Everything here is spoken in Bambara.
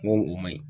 N ko o ma ɲi